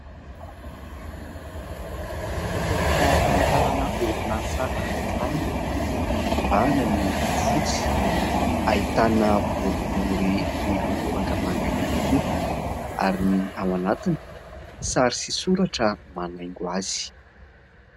Takelaka famantarana orinasa anankiray, mibana ny loko fotsy, ahitana boribory miloko mangamanga ihany koa ary ny ao anatiny sary sy soratra manaingo azy.